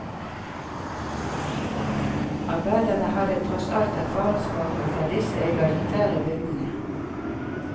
Arbeiderne hadde tross alt erfaringsbakgrunn fra disse egalitære bygdene.